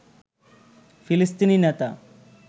ফিলিস্তিনি নেতা